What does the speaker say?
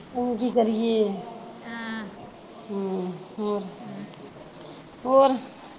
ਕੀ ਕਰੀਏ ਆਹ ਹਮ ਹੋਰ